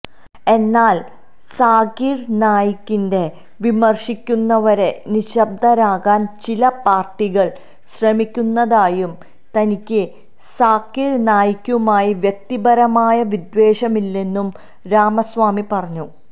എന്നാല് സാകിര് നായിക്കിനെ വിമര്ശിക്കുന്നവരെ നിശബ്ദരാക്കാന് ചില പാര്ട്ടികള് ശ്രമിക്കുന്നതായും തനിക്ക് സാകിര് നായിക്കുമായി വ്യക്തിപരമായ വിദ്വേഷമില്ലെന്നും രാമസ്വാമി പറഞ്ഞു